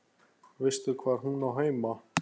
Veistu hvar hún á heima?